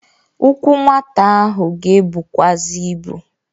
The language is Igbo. Ụkwụ nwata ahụ ga-ebukwazị ibu.